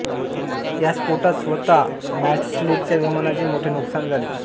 या स्फोटात स्वतः मॉडस्लेच्या विमानाचे मोठे नुकसान झाले